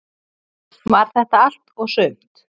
Var þetta allt og sumt?